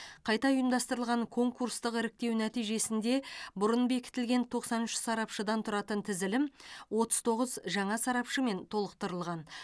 қайта ұйымдастырылған конкурстық іріктеу нәтижесінде бұрын бекітілген тоқсан үш сарапшыдан тұратын тізілім отыз тоғыз жаңа сарапшымен толықтырылған